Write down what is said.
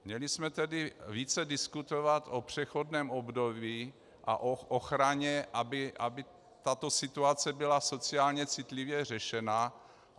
Měli jsme tedy více diskutovat o přechodném období a o ochraně, aby tato situace byla sociálně citlivě řešena.